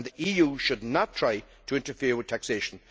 The EU should not try to interfere with taxation.